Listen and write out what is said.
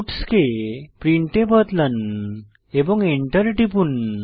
puts কে print এ বদলান এবং এন্টার টিপুন